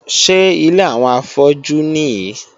Ṣé ilé àwọn afọ́jú nìí?